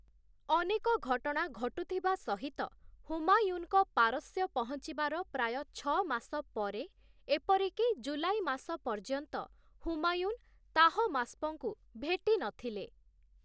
ଅନେକ ଘଟଣା ଘଟୁଥିବା ସହିତ, ହୁମାୟୁନଙ୍କ ପାରସ୍ୟ ପହଞ୍ଚିବାର ପ୍ରାୟ ଛଅ ମାସ ପରେ ଏପରିକି ଜୁଲାଇ ମାସ ପର୍ଯ୍ୟନ୍ତ ହୁମାୟୁନ ତାହମାସ୍‌ପଙ୍କୁ ଭେଟିନଥିଲେ ।